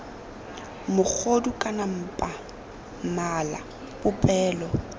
mogodu kana mpa mala popelo